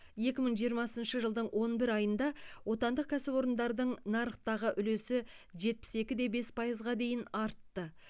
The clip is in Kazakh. екі мың жиырмасыншы жылдың он бір айында отандық кәсіпорындардың нарықтағы үлесі жетпіс екі де бес пайызға дейін артты